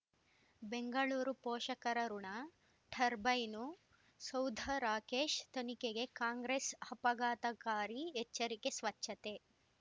ಬೆಂಗಳೂರು ಪೋಷಕರಋಣ ಟರ್ಬೈನು ಸೌಧ ರಾಕೇಶ್ ತನಿಖೆಗೆ ಕಾಂಗ್ರೆಸ್ ಆಪಘಾತಕಾರಿ ಎಚ್ಚರಿಕೆ ಸ್ವಚ್ಛತೆ